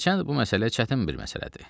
Hərçənd bu məsələ çətin bir məsələdir.